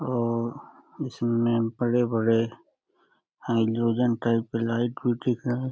आ इसमें बड़े-बड़े hydrogen type के लाइट भी दिख रहे --